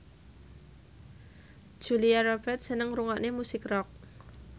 Julia Robert seneng ngrungokne musik rock